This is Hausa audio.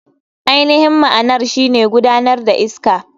AInihin ma'anar shine magudanar iska.